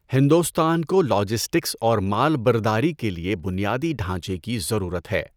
ہندوستان کو لاجسٹکس اور مال برداری کے لیے بنیادی ڈھانچے کی ضرورت ہے۔